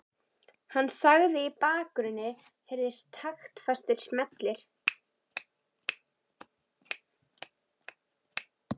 Hann þagði og í bakgrunni heyrðust taktfastir smellir.